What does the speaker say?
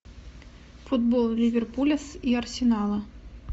футбол ливерпуля с и арсенала